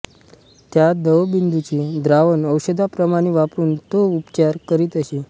त्या दवबिंदूंचे द्रावण औषधाप्रमाणे वापरून तो उपचार करीत असे